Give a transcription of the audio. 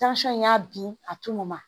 in y'a bin a tunun na